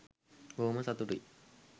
බොහොම සතුටුයි